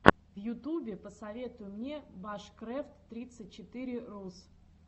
в ютубе посоветуй мне башкрэфт тридцать четыре рус